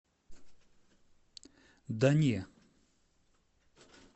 да не